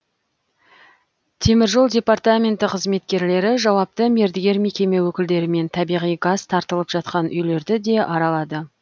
тжд қызметкерлері жауапты мердігер мекеме өкілдерімен табиғи газ тартылып жатқан үйлерді де аралады